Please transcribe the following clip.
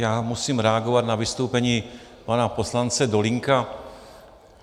Já musím reagovat na vystoupení pana poslance Dolínka.